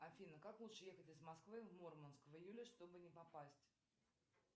афина как лучше ехать из москвы в мурманск в июле чтобы не попасть